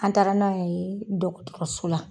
An taara n'a ye dɔgɔtɔrɔso la.